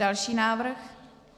Další návrh.